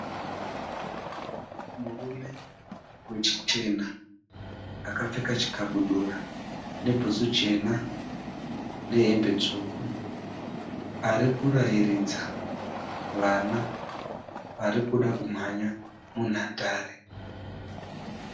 Murume wechichena akapfeka chikabudura nebhutsu chena nehembe tsvuku ari kurairidza vana vari kuda kumhanya munhandare.